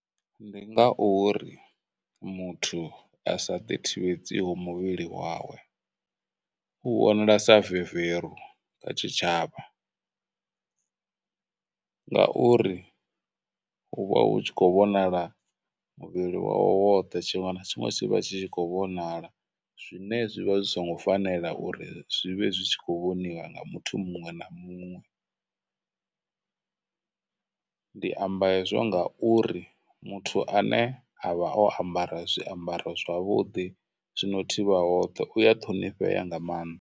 Ndi ngauri muthu a sa ḓi thivhedzaho muvhili wawe, u vhonala sa veveru kha tshitshavha ngauri hu vha hu tshi khou vhonala muvhili wawe woṱhe, tshiṅwe na tshiṅwe tshi vha tshi tshi khou vhonala zwine zwi vha zwi songo fanela uri zwi vhe zwi tshi khou vhoniwa nga muthu muṅwe na muṅwe. Ndi amba hezwo ngauri muthu ane a vha o ambara zwiambaro zwavhuḓi, zwino thivha hoṱhe, uya ṱhonifhea nga maanḓa.